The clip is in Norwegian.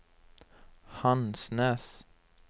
Hansnes